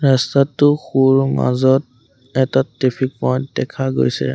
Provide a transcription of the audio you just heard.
ৰাস্তাটোৰ সোঁৰ মাজত এটা ট্ৰেফিক পইণ্ট দেখা গৈছে।